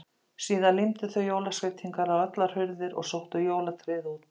Síðan límdu þau jólaskreytingar á allar hurðir og sóttu jólatréð út.